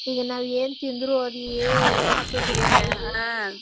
ಈಗ ನಾವ್ ಏನ್ ತಿಂದ್ರು ಆದ್ ಏನು ಹತ್ತುದಿಲ್ಲಾ .